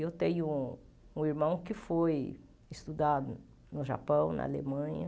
Eu tenho um irmão que foi estudar no Japão, na Alemanha.